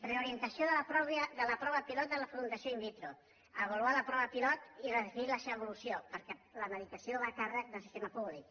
reorientació de la prova pilot de la fecundació in vitroavaluar la prova pilot i redefinir la seva evolució perquè la medicació va a càrrec del sistema públic